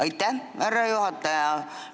Aitäh, härra juhataja!